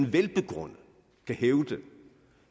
velbegrundet kan hævde